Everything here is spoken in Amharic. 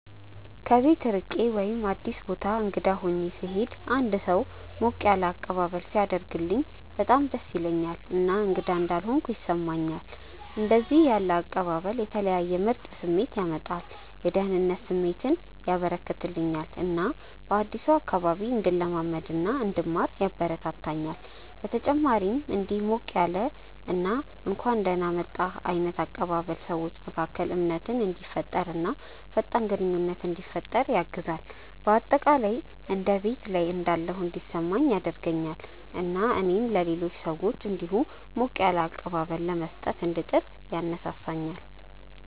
ከቤት ርቄ ወይም አዲስ ቦታ እንግዳ ሆኜ ስሄድ እና አንድ ሰው ሞቅ ያለ አቀባበል ሲያደርግልኝ በጣም ደስ ይለኛል እና እንግዳ እንዳልሆንኩ ያስሰማኛል። እንደዚህ ያለ አቀባበል የተለየ ምርጥ ስሜት ያመጣል፤ የደህንነት ስሜት ያበረከተልኛል እና በአዲሱ አካባቢ እንድለማመድ እና እንድማር ያበረታታኛል። በተጨማሪም እንዲህ ያለ ሞቅ ያለ እና እንኳን ደህና መጣህ ዓይነት አቀባበል ሰዎች መካከል እምነትን እንዲፈጠር እና ፈጣን ግንኙነት እንዲፈጠር ያግዛል። በአጠቃላይ እንደ ቤት ላይ እንዳለሁ እንዲሰማኝ ያደርገኛል እና እኔም ለሌሎች ሰዎች እንዲሁ ያለ ሞቅ ያለ አቀባበል ለመስጠት እንድጥር ያነሳሳኛል።